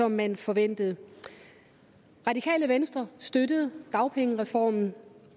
man forventede radikale venstre støttede dagpengereformen